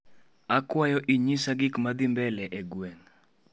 Akwayo inyisha gikmadhii mbele e gweng'